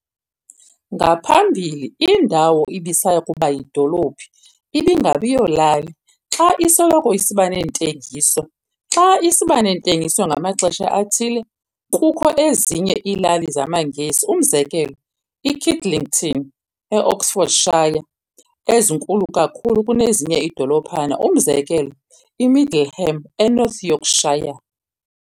Ngaphambili indawo ibisaya kuba yidolophu ingabiyolali, xa isoloko isiba neentengiso, xa isiba nentengiso ngamaxesha athile. Kukho ezinye iilali zamaNgesi, umzekelo, iKidlington, eOxfordshire, ezinkulu kakhulu kunezinye iidolophana, umzekelo eMiddleham, eNorth Yorkshire.